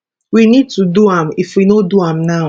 we need to do am if we no do am now